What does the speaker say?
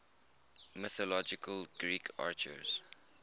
mythological greek archers